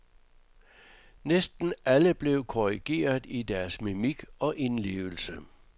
Næsten alle blev korrigeret i deres mimik og indlevelse.